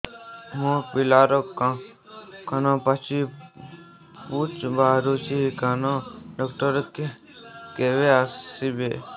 ମୋ ପିଲାର କାନ ପାଚି ପୂଜ ବାହାରୁଚି କାନ ଡକ୍ଟର କେବେ ଆସିବେ